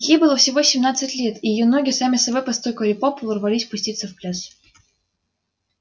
ей было всего семнадцать лет и её ноги сами собой постукивали по полу рвались пуститься в пляс